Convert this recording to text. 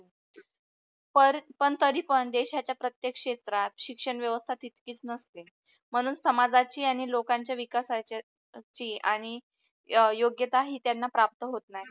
पण तरी पण देशाच्या प्रतेक क्षेत्रात शिक्षण व्यवस्था तिथकीच नसते म्हणून समाजाची आणि लोकांच्या विकासाची ती आणि योग्यता ही त्यांना प्राप्त होत नाही.